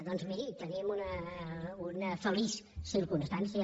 doncs miri tenim una feliç circumstància